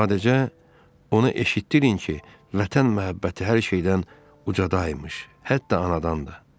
Sadəcə, ona eşitdirin ki, Vətən məhəbbəti hər şeydən ucada imiş, hətta anadan da.